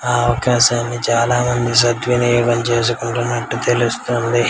ఆ అవకాశాన్ని చాలా మంది సద్వినియోగం చేసుకుంటున్నట్టు తెలుస్తుంది.